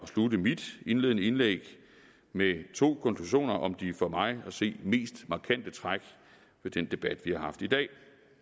at slutte mit indledende indlæg med to konklusioner om de for mig at se mest markante træk ved den debat vi har haft i dag